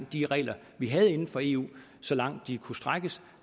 de regler vi havde inden for eu så langt de kunne strækkes